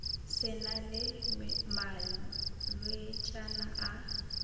se na le malwetšana a